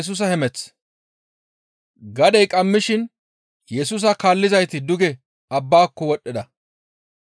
Gadey qammishin Yesusa kaallizayti duge abbaako wodhdhida.